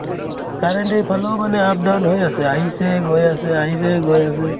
current এই ফালেও মানে up down হৈ আছে, আহিছে গৈ আছে, আহিছে গৈ আছে